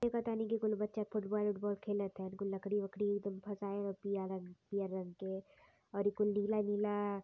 देखतानी की कुल बच्चा फूटबाल उटबाल खेलत हैन कुललकड़ी वकड़ी अउरी कुल नीला नीला।